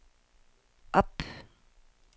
op